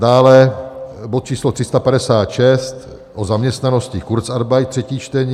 Dále bod číslo 356 o zaměstnanosti, kurzarbeit, třetí čtení.